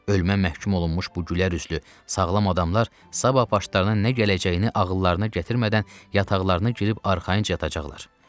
Ölməyə məhkum olunmuş bu gülərüzlü sağlam adamlar sabah başlarına nə gələcəyini ağıllarına gətirmədən yataqlarına girib arxayınca yatacaqlar.